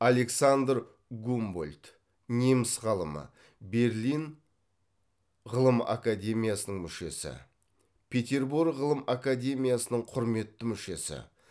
александр гумбольдт неміс ғалымы берлин ғылым академиясының мүшесі петербург ғылым академиясының құрметті мүшесі